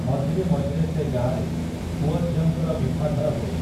ମଝିରେ ମଝିରେ ସେ ଗାଁରେ, ପୁଅଝିଅଙ୍କର ବିଭାଘର ହୁଏ ।